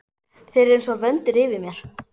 Þeir eru einsog vöndur yfir mér.